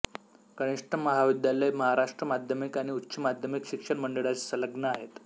कनिष्ठ महाविद्यालय महाराष्ट्र माध्यमिक आणि उच्च माध्यमिक शिक्षण मंडळाशी संलग्न आहे